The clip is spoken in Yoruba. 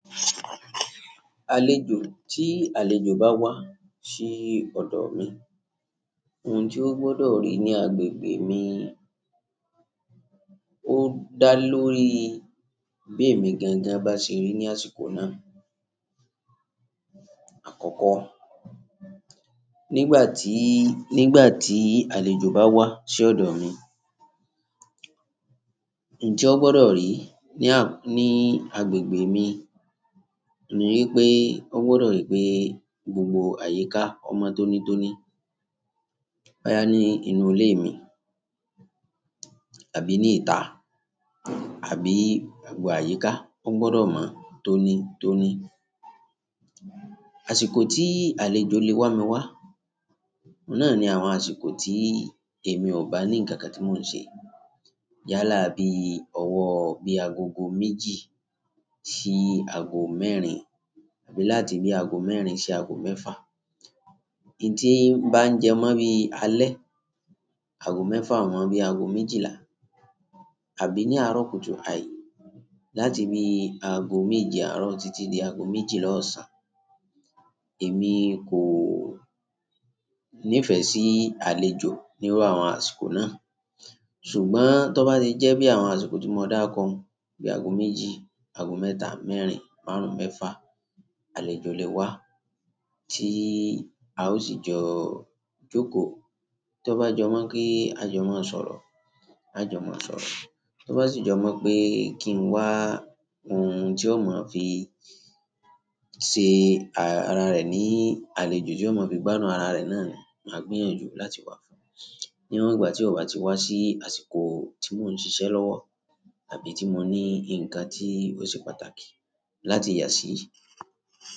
Àlejò, tí àlejò bá wá sí ọ̀dọ̀ mi ohun tó gbọ́dọ̀ rí ní agbègbè mi ó dá lórí bí èmi gangan bá ṣe rí ní àsìkò náà. Àkọ́kọ́, nígbà tí, nígbà tí àlejò bá wá sí ọ̀dọ̀ mi, ihun tí ó gbọdọ̀ rí ní a, ní agbègbè mi ni wípé ó gbọdọ̀ rí pé gbogbo àyíká ò mọ́ tónítóní bóyá ní inú ilé mi àbí ní ìta àbí àgbo àyíká ó gbọdọ̀ mọ tónítóní. Àsìkò tí àlejò lè wa mi wá, òun náà ni àwọn àsìkò tí èmi ò bá ní ǹkan kan tí mò ń ṣe. Yálà bíi ọwọ́ bí agogo méjì sí aago mẹ́rin àbí láti bí aago mẹ́rin sí aago mẹ́fà. Ihun tí bá ń jẹ mọ́ bí alẹ́, aago mẹ́fà àwọn bí agogo méjìlá. Àbí ní àárọ̀ kùtù àì, láti bí aago méje àárọ̀ títí di aago méjìlá ọ̀sán. Èmi kò nífẹ̀ẹ́ sí àlejò nírú àwọn àsìkò náà. Ṣùgbọ́n tí ó bá ti jẹ́ bí àwọn àsìkò tí mo dáko hun bí agogo méjì, aago mẹ́ta, mẹ́rin, márùn-ún, mẹ́fà, àlejò lè wá tí a ó sì jọ jókòó. Tí ó bá jọ mọ̀ kí a jọ má sọ̀rọ̀, a jọ máa sọ̀rọ̀. Tí ó bá sì jọ mọ̀ pé kí n wá ohun tí ó mọ̀ fi ṣe ara rẹ̀ ní àlejò tí ó mọ̀ fi gbádùn ara rẹ̀ náà ni, màá gbìyànjú láti wá fún. Níwọn ìgbà tí ó bá ti wá sí àsìkò tí mò ń ṣiṣẹ́ lọ́wọ́ àbí tí mo ní nǹkan tí ó ṣe pàtàkì láti yà sí.